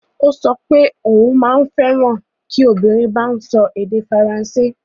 Ó sọ pé òun maa n feran ki obìnrin bá ń sọ èdè Faransé